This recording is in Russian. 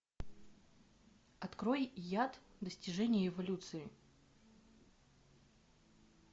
открой яд достижение эволюции